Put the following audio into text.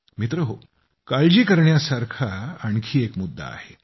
मित्रहो काळजी करण्यासारखा आणखी एक मुद्दा आहे